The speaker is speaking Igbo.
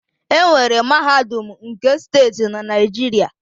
Enwere mahadum nke steeti na Naijiria